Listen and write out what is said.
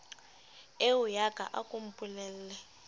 eoya ka a ko mpolelle